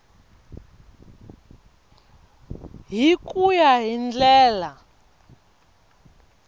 hi ku ya hi ndlela